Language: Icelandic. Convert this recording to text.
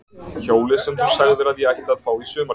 Hjólið sem þú sagðir að ég ætti að fá í sumargjöf.